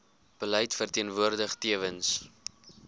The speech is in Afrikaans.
beleid verteenwoordig tewens